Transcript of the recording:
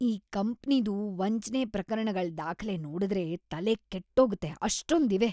ಈ ಕಂಪ್ನಿದು ವಂಚ್ನೆ ಪ್ರಕರಣಗಳ್ ದಾಖಲೆ ನೋಡುದ್ರೆ ತಲೆ ಕೆಟ್ಟೋಗತ್ತೆ, ಅಷ್ಟೊಂದಿವೆ.